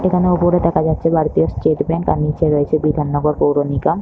এখানে ওপরে দেখা যাচ্ছে ভারতীয় স্টেট ব্যাঙ্ক আর নিচে রয়েছে বিধাননগর পৌর নিগম।